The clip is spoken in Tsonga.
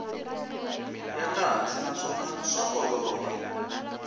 ya kahle naswona swa olova